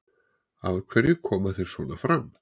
Af hverju koma þeir svona fram?